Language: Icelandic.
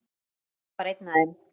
Ég var ein af þeim.